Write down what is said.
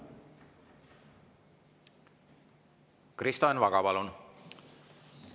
Kristo Enn Vaga, palun!